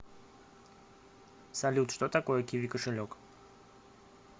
салют что такое киви кошелек